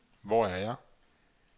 Hvor er jeg